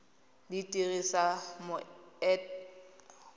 dirisa moento o o sa